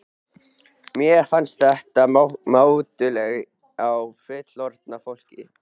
Mér fannst þetta mátulegt á fullorðna fólkið.